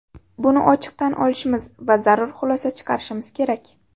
Buni ochiq tan olishimiz va zarur xulosa chiqarishimiz kerak.